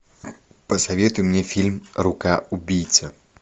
посоветуй мне фильм рука убийца